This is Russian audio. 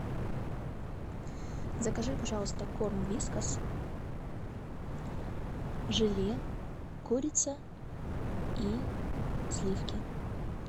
закажи пожалуйста корм вискас желе курица и сливки